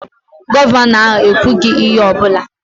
Gọvanọ ahụ ekwughị ihe ọ bụla